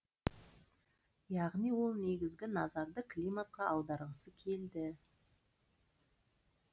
яғни ол негізгі назарды климатқа аударғысы келді